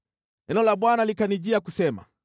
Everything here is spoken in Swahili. Neno la Bwana likanijia kusema: